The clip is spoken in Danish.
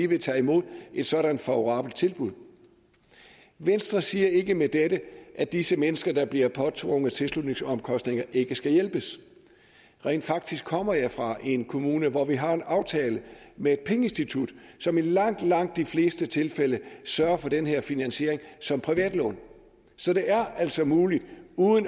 vil tage imod et sådant favorabelt tilbud venstre siger ikke med dette at disse mennesker der bliver påtvunget tilslutningsomkostninger ikke skal hjælpes rent faktisk kommer jeg fra en kommune hvor vi har en aftale med et pengeinstitut som i langt langt de fleste tilfælde sørger for den her finansiering som privatlån så det er altså muligt